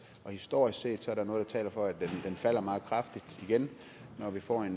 og historisk set er der noget der taler for at den falder meget kraftigt igen når vi får en